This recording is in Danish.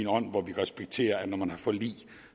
ånd hvor man respekterede at når man har et forlig